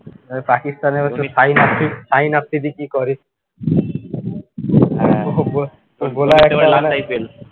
এ পাকিস্তানে ওই শাহিন আফ্রিদি কী করে